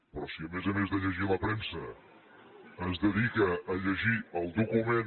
però si a més a més de llegir la premsa es dedica a llegir el document